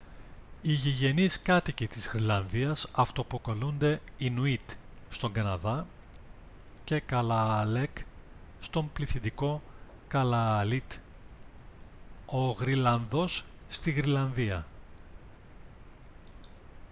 οι γηγενείς κάτοικοι της γροιλανδίας αυτοαποκαλούνται ινουίτ στον καναδά και kalaalleq στον πληθυντικό καλααλίτ ο γροιλανδός στη γροιλανδία